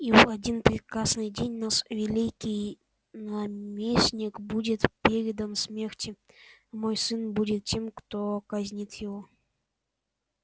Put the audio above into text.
и в один прекрасный день наш великий наместник будет передан смерти мой сын будет тем кто казнит его